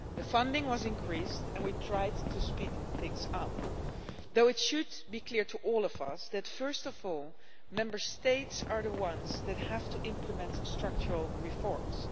Funding was increased and we tried to speed things up, although it should be clear to all of us that, first of all, Member States are the ones that have to implement structural reforms.